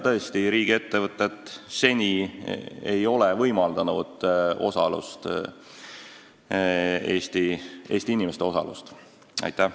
Tõesti, riigiettevõtted ei ole seni Eesti inimestele osalust võimaldanud.